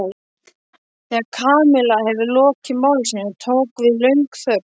Þegar Kamilla hafði lokið máli sínu tók við löng þögn.